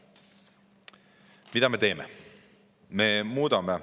Mida me teeme?